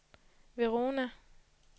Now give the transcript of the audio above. Verona